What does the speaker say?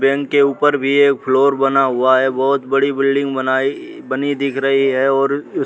bank के ऊपर भी एक फ्लोर बना हुआ है बहोत बड़ी बिल्डिंग बनाई बनी दिख रही है और उस --